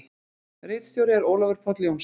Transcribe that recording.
Ritstjóri er Ólafur Páll Jónsson.